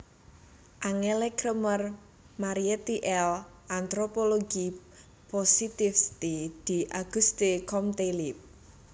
Angèle Kremer Marietti L anthropologie positiviste d Auguste Comte Lib